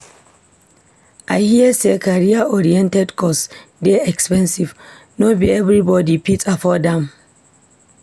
I hear sey career-oriented course dey expensive, no be everybodi fit afford am.